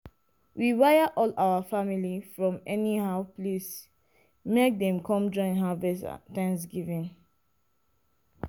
we wire all our family from anyhow place make dem come join harvest thanksgiving.